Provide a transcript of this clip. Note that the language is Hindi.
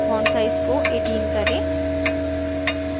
font size को 18 करें